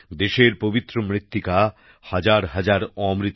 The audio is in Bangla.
দেশের পবিত্র মৃত্তিকা হাজারহাজার অমৃত